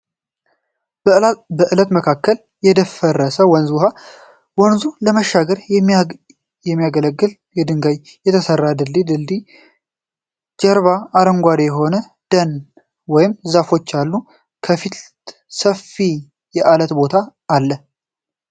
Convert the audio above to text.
በአለት መካከል የደፈረሰ የወንዝ ዉኃ ፤ ወንዙን ለመሻገር የሚያገለግል ከድንጋይ የተሰራ የድሮ ድልድል እና ከድልድዩ ጀርባ አረንጓዴ የሆነ ደን ወይም ዛፎች አሉ። ከፊት ሰፊ የአለት ቦታ ነዉ።